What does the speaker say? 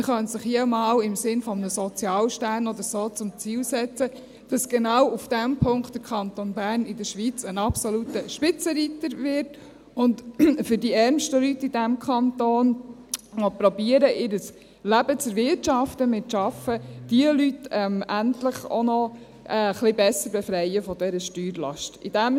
Man könnte sich ja hier auch einmal etwas im Sinn eines Sozialsterns oder so zum Ziel setzen, dass der Kanton Bern genau in diesem Punkt in der Schweiz ein absoluter Spitzenreiter wird und die ärmsten Leute in diesem Kanton, die versuchen, ihr Leben mit Arbeit zu erwirtschaften, endlich auch noch etwas besser von dieser Steuerlast befreit.